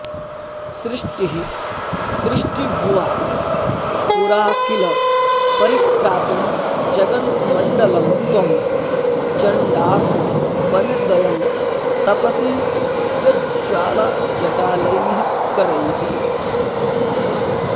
सृष्टिः सृष्टिभुवा पुरा किल परित्रातुं जगन्मण्डलं त्वं चण्डातपनिर्दयं तपसि यज्ज्वालाजटालैः करैः